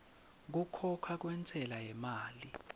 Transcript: kukhokha kwentsela yemali